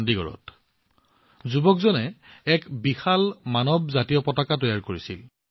চণ্ডীগড়ত যুৱকসকলে এক বিশাল মানৱ ত্ৰিৰংগাৰ সৃষ্টি কৰিছিল